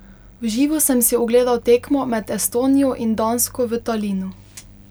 V živo sem si ogledal tekmo med Estonijo in Dansko v Talinu.